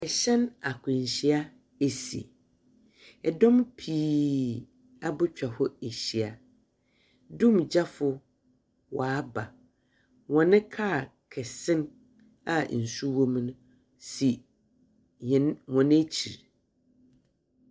Ɛhyɛn akwanhyia asi. Ɛdɔm pii abɛtwa hɔ ahyia. Dumgyafo waaba. Wɔne car kɛse no a nsuo wɔ mu no si wɔn akyiri.